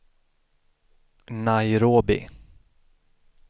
Nairobi